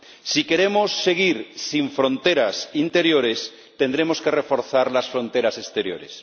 Si queremos seguir sin fronteras interiores, tendremos que reforzar las fronteras exteriores.